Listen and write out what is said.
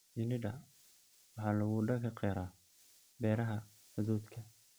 Shinnida waxa lagu dhaqi karaa beeraha hadhuudhka.